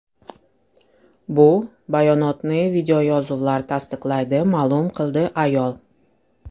Bu bayonotni videoyozuvlar tasdiqlaydi, ma’lum qildi ayol.